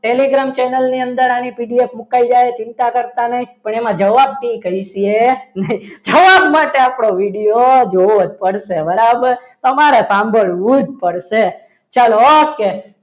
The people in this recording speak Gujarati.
telegram channel ની અંદર આની PDF મુકાઈ જાય ચિંતા કરતા નહીં પણ એમાં જવાબ કહીએ છીએ જવાબ માટે આપણો video જોવો પડશે. બરાબર તમારી સાંભળવું જ પડશે ચાલો okay